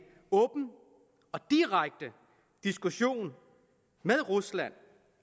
åben og direkte diskussion med rusland